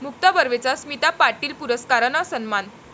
मुक्ता बर्वेचा स्मिता पाटील पुरस्कारानं सन्मान